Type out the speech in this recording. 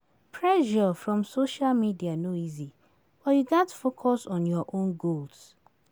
Pressure from social media no easy, but you gats focus on your own goals.